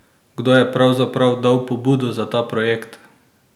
Kdo je pravzaprav dal pobudo za ta projekt?